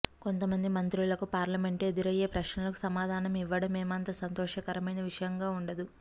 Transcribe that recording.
కొంతమంది మంత్రులకు పార్లమెంటులో ఎదురయ్యే ప్రశ్నలకు సమాధానం ఇవ్వడం ఏమంత సంతోషకరమైన విషయంగా ఉండదు